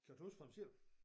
Købt hus for ham selv